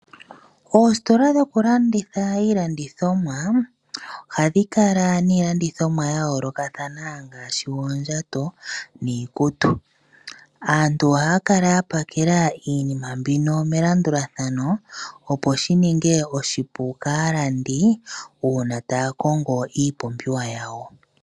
Oositola dhokulanditha iilandithomwa ohadhi kala niilandithomwa ya yoolokathana ngaashi oondjato niikutu. Aantu ohaya kala ya pakela iinima mbino melandulathano opo shi ninge oshipu kaalandi una taya kongo iipumbiwa yawo.